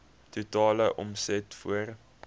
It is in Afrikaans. totale omset voor